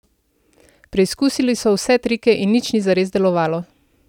Preizkusili so vse trike in nič ni zares delovalo.